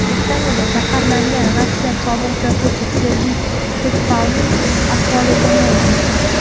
Britaniyada zaharlangan Rossiya sobiq josusi Sergey Skripalning ahvoli yomonlashdi.